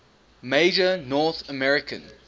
major north american